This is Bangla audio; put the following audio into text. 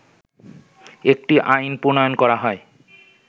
একটি আইন প্রণয়ন করা হয়